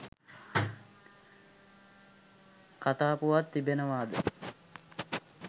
කතා පුවත් තිබෙනවාද?